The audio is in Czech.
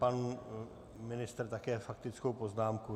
Pan ministr také faktickou poznámku?